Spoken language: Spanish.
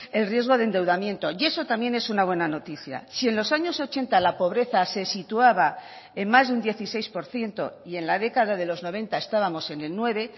el riesgo de endeudamiento y eso también es una buena noticia si en los años ochenta la pobreza se situaba en más de un dieciséis por ciento y en la década de los noventa estábamos en el nueve